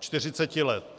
40 let.